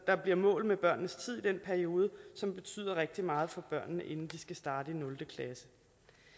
der bliver målet med børnenes tid i den periode som betyder rigtig meget for børnene inden de skal starte